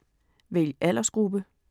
Vælg aldersgruppe